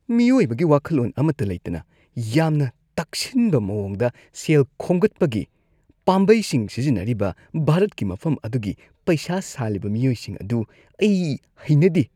ꯃꯤꯑꯣꯏꯕꯒꯤ ꯋꯥꯈꯜꯂꯣꯟ ꯑꯃꯠꯇ ꯂꯩꯇꯅ ꯌꯥꯝꯅ ꯇꯛꯁꯤꯟꯕ ꯃꯑꯣꯡꯗ ꯁꯦꯜ ꯈꯣꯝꯒꯠꯄꯒꯤ ꯄꯥꯝꯕꯩꯁꯤꯡ ꯁꯤꯖꯤꯟꯅꯔꯤꯕ ꯚꯥꯔꯠꯀꯤ ꯃꯐꯝ ꯑꯗꯨꯒꯤ ꯄꯩꯁꯥ ꯁꯥꯜꯂꯤꯕ ꯃꯤꯑꯣꯏꯁꯤꯡ ꯑꯗꯨ ꯑꯩ ꯍꯩꯅꯗꯦ ꯫